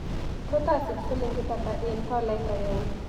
Tos' asiich silingit ata eng' tolait agenge